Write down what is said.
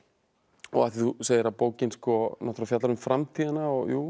og af því þú segir að bókin fjallar um framtíðina og jú en